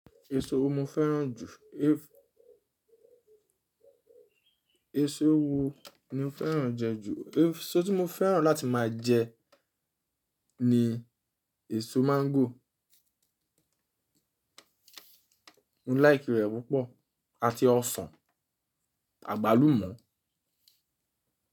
Èso wo mo fẹ́ràn jù? Èso wo ni mo fẹ́ràn jẹ ju? Èso tí mo fẹ́ràn láti máa jẹ ni èso máńgò. Mo like rẹ̀ púpọ̀ àti ọsàn, àgbálùmọ́